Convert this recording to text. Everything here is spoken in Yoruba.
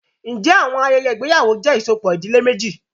Ǹjẹ́ àwọn- ayẹyẹ ìgbéyàwó jẹ́ ìsopọ̀bi ìdílé méjì?